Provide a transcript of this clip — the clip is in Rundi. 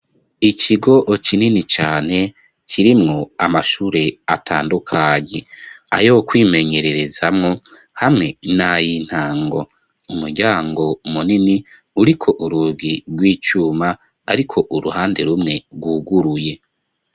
ikigo kinini cane kirimwo amashure atandukanye ayo kwimenyererezamwo hamwe nayi ntango umuryango munini uriko urugi rw'icuma ariko uruhande rumwe rwuguruye